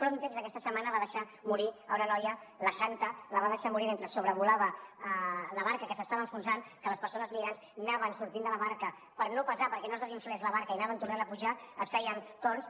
frontex aquesta setmana va deixar morir una noia la hanatah la va deixar morir mentre sobrevolava la barca que s’estava enfonsant que les persones migrants anaven sortint de la barca per no pesar perquè no es desinflés la barca i hi anaven tornant a pujar es feien torns